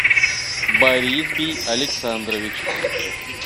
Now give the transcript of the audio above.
борисбий александрович